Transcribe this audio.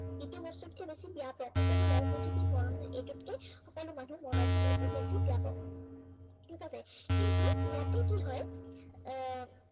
ইটো বস্তুতকে বেছি ব্য়াপক। সকলো ৰাজনীতিবীদ মৰণশীল, এইটোতকে সকলো মানুহ মৰণশীল, এইটো বেছি ব্য়াপক। ঠিক আছে, কিন্তু ইয়াতে কি হয় আহ